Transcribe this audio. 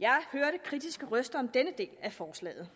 jeg hørte kritiske røster om denne del af forslaget